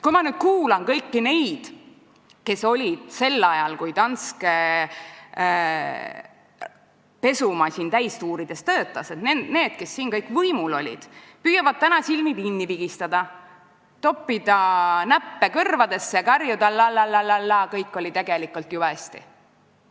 Ma kuulasin neid, kes olid sel ajal, kui Danske pesumasin täistuuridel töötas, võimul ja kes püüavad täna silmi kinni pigistada, toppida näppe kõrvadesse ja karjuda lal-lal-lal-laa, kõik oli tegelikult jube hästi.